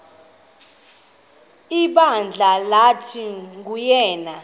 ibandla lathi nguyena